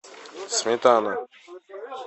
сметана